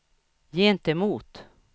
gentemot